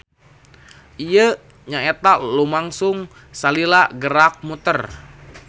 Ieu nyaeta nu lumangsung salila gerak muter.